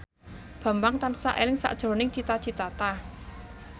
Bambang tansah eling sakjroning Cita Citata